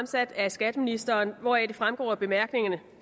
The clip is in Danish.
stillet af skatteministeren hvoraf det fremgår af bemærkningerne